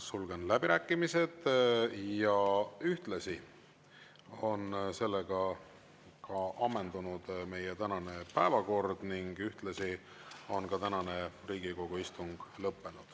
Sulgen läbirääkimised ja ühtlasi on ka ammendunud meie tänane päevakord ning ühtlasi on ka tänane Riigikogu istung lõppenud.